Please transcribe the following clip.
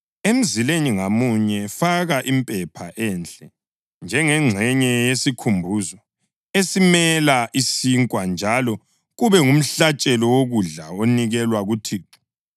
Emzileni ngamunye faka impepha enhle njengengxenye yesikhumbuzo esimela isinkwa njalo kube ngumhlatshelo wokudla onikelwa kuThixo.